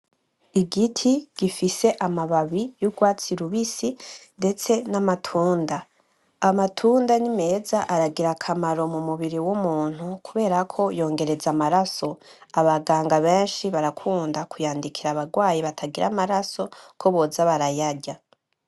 Igiti gifise amababi y'urwatsi rubisi ndetse n'amatunda. Amatunda nimeza, aragira akamaro mumubiri w'umuntu kubera ko yongereza amaraso, abaganga benshi barakunda kuyandikira abantu batagira amaraso ko boza barayarya.